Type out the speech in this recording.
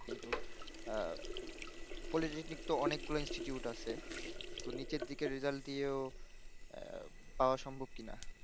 কিন্তু আহ politacnic ত অনেক গুলা institute আছে ত নিচের দিকে রেজাল্ট দিয়েও আহ পাওয়া সম্ভব কি না